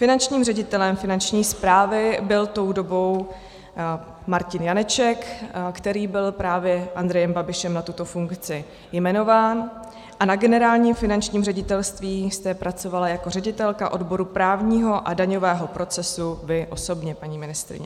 Finančním ředitelem Finanční správy byl tou dobou Martin Janeček, který byl právě Andrejem Babišem na tuto funkci jmenován, a na Generálním finančním ředitelství jste pracovala jako ředitelka odboru právního a daňového procesu vy osobně, paní ministryně.